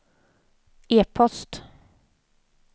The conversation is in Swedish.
e-post